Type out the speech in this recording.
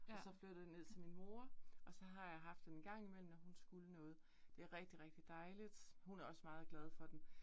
Og så flyttede den ned til min mor, og så har jeg haft den en gang imellem, når hun skulle noget. Det rigtig rigtig dejligt, hun er også meget glad for den